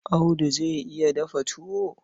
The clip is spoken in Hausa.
Audu zai iya dafa tuwo?